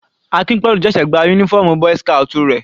Akinpelu ṣẹ̀ṣẹ̀ gba uniform boy's scout rẹ̀.